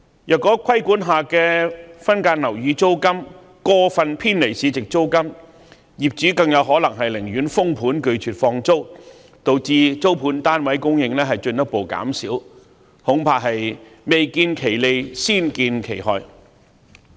如果規管下的分間樓宇租金過分偏離市值租金，業主更有可能寧願封盤拒絕放租，導致租盤供應進一步減少，恐怕未見其利，先見其害。